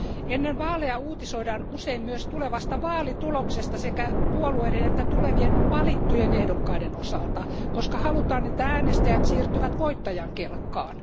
Ennen vaaleja uutisoidaan usein myös tulevasta vaalituloksesta sekä puolueiden että tulevien valittujen ehdokkaiden osalta, koska halutaan, että äänestäjät siirtyvät voittajan kelkkaan.